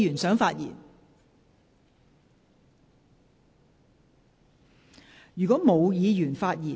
是否有議員想發言？